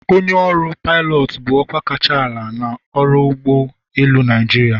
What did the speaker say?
Onye ọrụ pilot bụ ọkwa kacha ala n'ọrụ ụgbọ elu Naịjirịa.